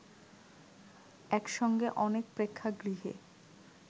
একসঙ্গে অনেক প্রেক্ষাগৃহে